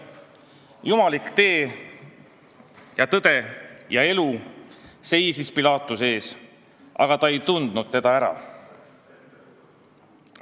Jumalik "tee ja tõde ja elu" seisis Pilaatuse ees, aga ta ei tundnud seda ära.